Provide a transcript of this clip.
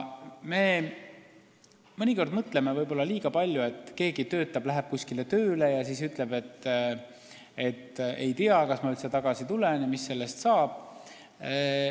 Me võib-olla mõnikord mõtleme liiga palju, kui keegi läheb kuskile tööle ja ütleb, et ma ei tea, kas ma üldse tagasi tulen, et mis siis sellest saab.